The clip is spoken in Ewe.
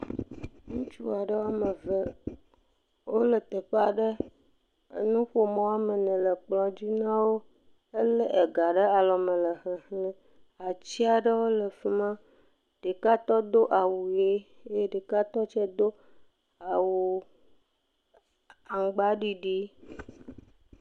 Ŋutsu aɖe woame ve, wole teƒe aɖe. Enuƒomɔ woame ene le kplɔ̃ dzi na wo. Elé ga ɖe alɔme le xexlẽm. Atsi aɖewo le fi ma. Ɖeka tɔ do awu ʋe eye ɖeka tɔ tsɛ do awu aŋgbaɖiɖi.